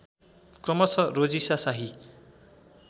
क्रमशः रोजिशा शाही